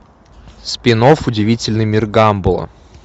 спин офф удивительный мир гамбола